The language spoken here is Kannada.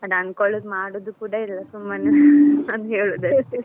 ಅನ್ಕೋಳುದು ಮಾಡುದು ಕೂಡ ಇಲ್ಲಾ ಸುಮ್ಮನೆ ಹಂಗೇಳುದು ಅಷ್ಟೆ.